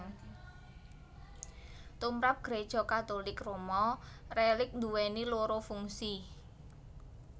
Tumrap Gréja Katulik Roma rélik nduwèni loro fungsi